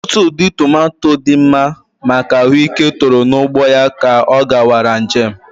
Otutu ụdị tomato dị mma maka ahụike toro n'ugbo ya ka ọ gawara nje m